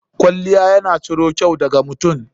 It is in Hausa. Kwalliya ya na ciro kyau da ga mutum.